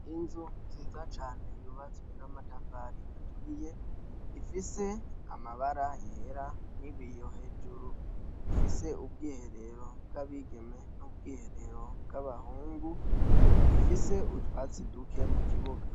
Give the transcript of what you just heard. Inzu nziza cane yubatswe n' amatafari aturiye, ifise amabara yera n'ibiyo hejuru, ifise ubwiherero bw' abigeme n' ubwiherero bwabahungu, ifise utwatsi duke mukibuga.